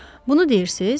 Bunu deyirsiz?